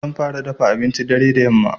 Zan fara dafa abincin dare da yamma.